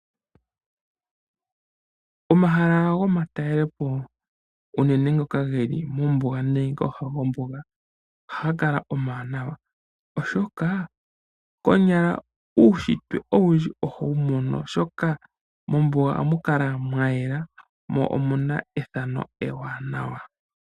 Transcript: Omahala gomatalelepo, unene ngoka ge li mombuga nenge kooha dhombuga ohaga kala omawanawa, oshoka konyala uunshitwe owundji ohowu mono, oshoka mombuga ohamu kala mwa yela mo omu na ethano ewaanawa.